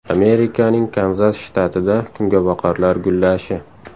Amerikaning Kanzas shtatida kungaboqarlar gullashi.